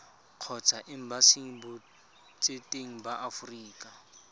kgotsa embasing botseteng ba aforika